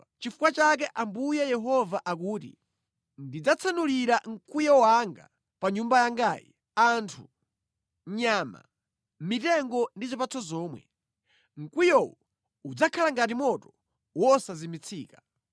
“Nʼchifukwa chake Ambuye Yehova akuti: Ndidzatsanulira mkwiyo wanga pa Nyumba yangayi, anthu, nyama, mitengo ndi zipatso zomwe. Mkwiyowo udzakhala ngati moto wosazimitsika.